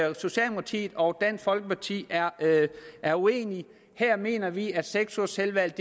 at socialdemokratiet og dansk folkeparti er er uenige her mener vi at seks ugers selvvalgt